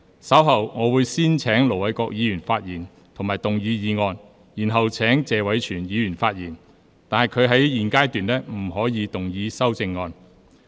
稍後我會先請盧偉國議員發言及動議議案，然後請謝偉銓議員發言，但他在現階段不可動議修正案。